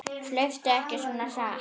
Hlauptu ekki svona hratt.